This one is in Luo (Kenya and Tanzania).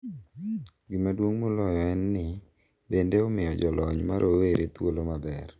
Gima duong’ moloyo en ni, bende omiyo jolony ma rowere thuolo maber .